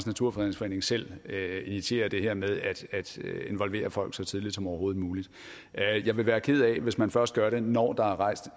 naturfredningsforening selv initierer det her med at involvere folk så tidligt som overhovedet muligt jeg vil være ked af hvis man først gør det når der er rejst